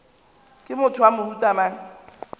ke motho wa mohuta mang